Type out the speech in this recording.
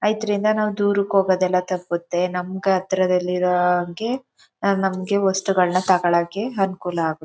ಅದರಿಂದ ನಾವು ದೂರಕ್ಕೆ ಹೋಗೋದಲ್ಲ ತಪ್ಪುತ್ತೆ ನಮಗೆ ಹತ್ತಿರದಲ್ಲಿರುವವರಿಗೆ ನಮಗೆ ವಸ್ತುಗಳ್ನ ತಗೋಳಕ್ಕೆ ಅನುಕೂಲ ಆಗುತ್ತೆ.